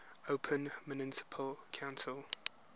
open municipal council